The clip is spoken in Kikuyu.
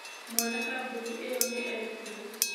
Mwene kambuni ĩyo nĩ etirwo.